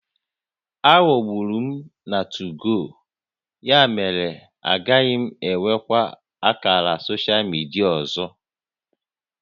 Aghọgburu m na 2go, ya mere na agaghị m enwekwa ákàrà soshal midia ọzọ